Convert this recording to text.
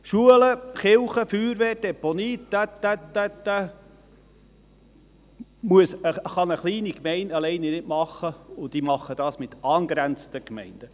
Schulen, Kirche, Feuerwehr, Deponie und so weiter, das kann eine kleine Gemeinde nicht alleine machen, sie macht dies mit angrenzenden Gemeinden.